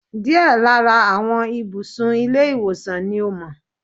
Díẹ̀ lára àwọn ibùsùn ilé ìwòsan ni ò mó